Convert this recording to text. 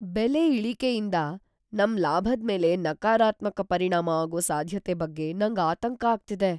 ಬೆಲೆ ಇಳಿಕೆಯಿಂದ ನಮ್ ಲಾಭದ್ಮೇಲೆ ನಕಾರಾತ್ಮಕ ಪರಿಣಾಮ ಆಗೋ ಸಾಧ್ಯತೆ ಬಗ್ಗೆ ನಂಗ್ ಆತಂಕ ಆಗ್ತಿದೆ.